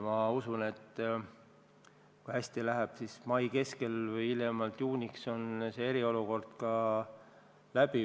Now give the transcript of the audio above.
Ma usun, et kui hästi läheb, siis mai keskpaigaks või hiljemalt juuniks on eriolukord läbi.